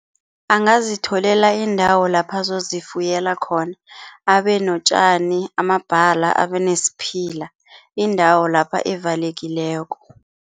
Angazitholela indawo lapha azozifuyela khona. Abe notjani, amabhala, abe nesiphila, indawo lapha evalekileko.